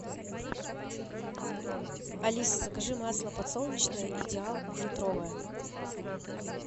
алиса закажи масло подсолнечное идеал литровое